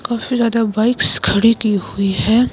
काफी ज्यादा बाइक्स खड़ी की हुई है।